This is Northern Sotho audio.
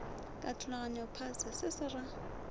katologano phase se se ra